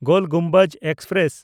ᱜᱳᱞ Gumbaz express